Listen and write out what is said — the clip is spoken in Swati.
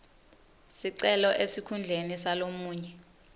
sicelo esikhundleni salomunye